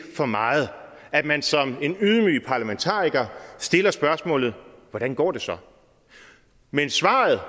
for meget at man som en ydmyg parlamentariker stiller spørgsmålet hvordan går det så men svaret